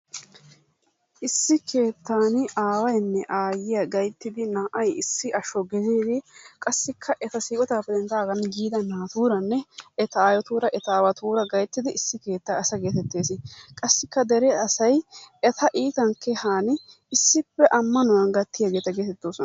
Issi keettan awaynne ayyiyyaa gayttidi naa"ay issi asho giididi qassikka eta siikettappe denddaagan kiiyida naaturanne eta ayyotuuranne eta awattuura gayttiidi issi keettaa asa getettees. assiika dere asay eta iitan keehani issippe ammanuwaan gaattiyaageta geetettosona.